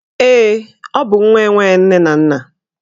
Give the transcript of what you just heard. Ee, ọ bụ nwa enwe nne na nna